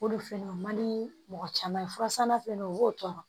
O de fɛnɛ o man di mɔgɔ caman ye fura sanna fana u b'o tɔɔrɔ